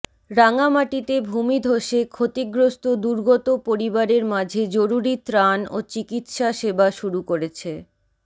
রাঙ্গামাটিতে ভূমিধসে ক্ষতিগ্রস্ত দুর্গত পরিবারের মাঝে জরুরি ত্রাণ ও চিকিৎসা সেবা শুরু করেছে